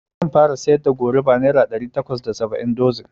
Zan fara siyar da goruba nera ɗari takwas da saba'in dozin